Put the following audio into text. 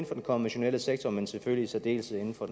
for den konventionelle sektor men selvfølgelig i særdeleshed inden for